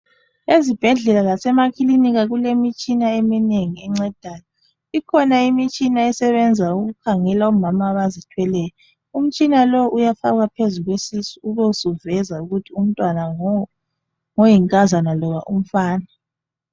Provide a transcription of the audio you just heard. eZibhedlela lase makilinika kulemitshina eminengi encedayo ikhona imitshina esebenza ukukhangela omama abazithweleyo ,umtshina lo uyafakwa phezu kwesisu ube suveza ukuthi umntwana ngo "ngoyinkazana loba umfana.